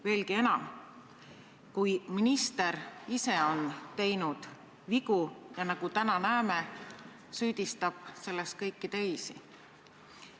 Veelgi raskem on siis, kui minister ise on teinud vigu, ja nagu täna näeme, süüdistab selles kõiki teisi.